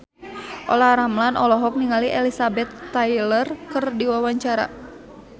Olla Ramlan olohok ningali Elizabeth Taylor keur diwawancara